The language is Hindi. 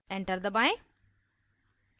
enter दबाएं